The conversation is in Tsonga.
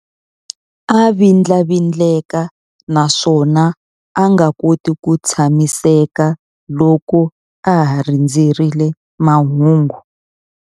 A vindlavindleka naswona a nga koti ku tshamiseka loko a ha rindzerile mahungu.